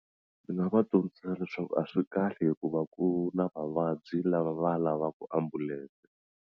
Ni nga va dyondzisa leswaku a swi kahle hikuva ku na vavabyi lava va lavaka ambulense.